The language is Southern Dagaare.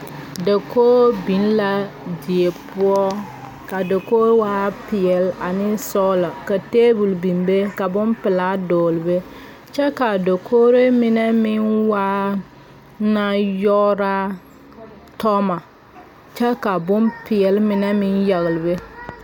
Dakog biŋ la die poɔ ka dakog waa peɛɛl ane sɔglɔ ka tabol bin be ka bonpilaa dɔɔle be kyɛ kaa dakogree meŋ mine meŋ waa ŋa yɔɔraa toŋmɔ kyɛ ka bonpeɛɛle mine meŋ yagle be.